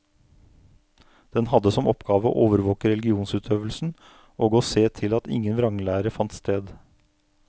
Den hadde som oppgave å overvåke religionsutøvelsen og å se til at ingen vranglære fant sted.